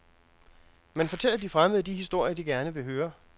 Man fortæller de fremmede de historier, de gerne vil høre.